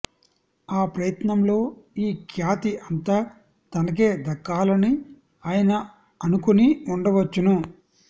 ఆ ప్రయత్నంలో ఈ ఖ్యాతి అంతా తనకే దక్కాలని ఆయన అనుకొని ఉండవచ్చును